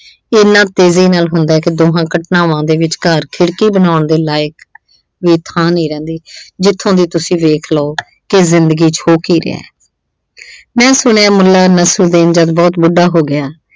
ਇੰਨਾ ਤੇਜ਼ੀ ਨਾਲ ਹੁੰਦਾ ਕਿ ਦੋਹਾਂ ਘਟਨਾਵਾਂ ਦੇ ਵਿਚਕਾਰ ਖਿੜਕੀ ਬਣਾਉਣ ਦੇ ਲਾਇਕ ਵੀ ਥਾਂ ਨਹੀਂ ਰਹਿੰਦੀ, ਜਿੱਥੋਂ ਦੀ ਤੁਸੀਂ ਦੇਖ ਲਓ ਕਿ ਜਿੰਦਗੀ ਚ ਹੋ ਕੀ ਰਿਹਾ। ਆਹ ਮੈਂ ਸੁਣਿਆ ਮੁੱਲਾ ਨਸਰੂਦੀਨ ਜਦ ਬਹੁਤ ਵੱਡਾ ਹੋ ਗਿਆ।